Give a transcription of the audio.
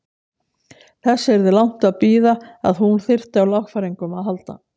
Þess yrði langt að bíða að hún þyrfti á lagfæringum að halda.